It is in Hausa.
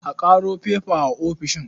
A ƙaro faifa a ofishin.